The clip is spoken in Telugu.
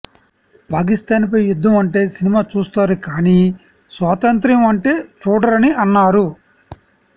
పాకిస్తాన్ పై యుద్ధం అంటే సినిమా చూస్తారు కానీ స్వాతంత్య్రం అంటే చూడరని అన్నారు